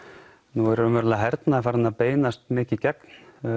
nú er hernaður farinn að beinast mikið gegn